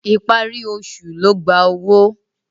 Ìparí oṣù ló gba owó.